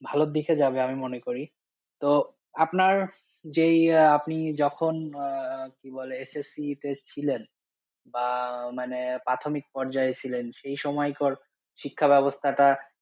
ভালোর দিকে যাবে আমি মনে করি, তো আপনার যেই আপনি যখন আহ কি বলে SSC তে ছিলেন বা মানে প্রাথমিক পর্যায়ে ছিলেন সেই সময়কার শিক্ষা ব্যবস্থাটা,